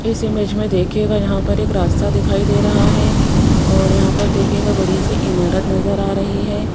इस इमेज मे देखियेगा यहां पर एक रास्ता दिखाई दे रहा है और यहां पर देखियेगा बड़ी सी इमारत नज़र आ रही है।